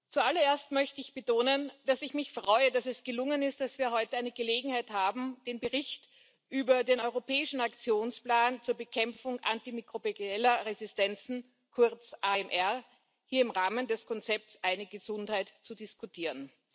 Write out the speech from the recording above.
Zuallererst möchte ich betonen, dass ich mich freue, dass es gelungen ist, dass wir heute eine Gelegenheit haben, den Bericht über den europäischen Aktionsplan zur Bekämpfung antimikrobieller Resistenzen, kurz AMR, hier im Rahmen des Konzepts Eine Gesundheit zu diskutieren.